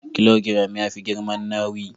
Kilogiram yafi giram nawi.